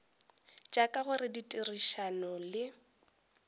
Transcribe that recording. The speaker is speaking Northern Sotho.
tša ka gare ditherišano le